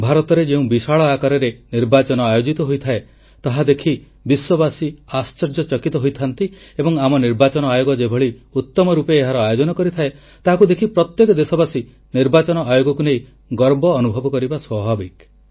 ଭାରତରେ ଯେଉଁ ବିଶାଳ ଆକାରରେ ନିର୍ବାଚନ ଆୟୋଜିତ ହୋଇଥାଏ ତାହା ଦେଖି ବିଶ୍ୱବାସୀ ଆଶ୍ଚର୍ଯ୍ୟ ଚକିତ ହୋଇଥାନ୍ତି ଏବଂ ଆମ ନିର୍ବାଚନ ଆୟୋଗ ଯେଭଳି ଉତମ ରୂପେ ଏହାର ଆୟୋଜନ କରିଥାଏ ତାହାକୁ ଦେଖି ପ୍ରତ୍ୟେକ ଦେଶବାସୀ ନିର୍ବାଚନ ଆୟୋଗକୁ ନେଇ ଗର୍ବ ଅନୁଭବ କରିବା ସ୍ୱାଭାବିକ